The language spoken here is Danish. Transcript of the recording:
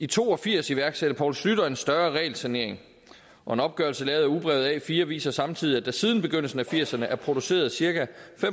to og firs iværksatte poul schlüter en større regelsanering og en opgørelse lavet af ugebrevet a4 viser samtidig at der siden begyndelsen af firserne er produceret cirka